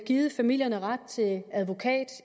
givet familierne ret til advokat